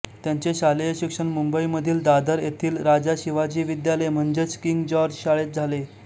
त्यांचे शालेय शिक्षण मुंबईमधील दादर येथील राजा शिवाजी विद्यालय म्हणजेच किंग जॉर्ज शाळेत झाले